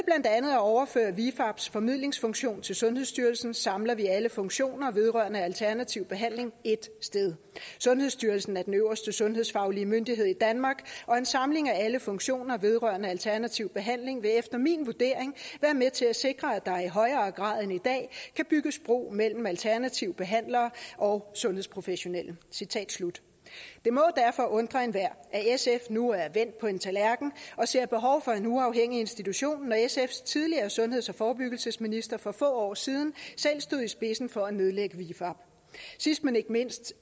at overføre vifabs formidlingsfunktion til sundhedsstyrelsen samler vi alle funktioner vedrørende alternativ behandling ét sted sundhedsstyrelsen er den øverste sundhedsfaglige myndighed i danmark og en samling af alle funktioner vedrørende alternativ behandling vil efter min vurdering være med til at sikre at der i højere grad end i dag kan bygges bro mellem alternative behandlere og sundhedsprofessionelle det må derfor undre enhver at sf nu er vendt på en tallerken og ser behov for en uafhængig institution når sfs tidligere sundheds og forebyggelsesminister for få år siden selv stod i spidsen for at nedlægge vifab sidst men ikke mindst